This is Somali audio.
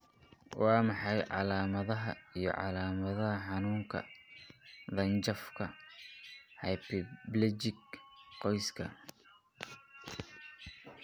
Waa maxay calaamadaha iyo calaamadaha xanuunka dhanjafka hemiplegic qoyska?